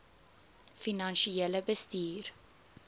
finansiële bestuur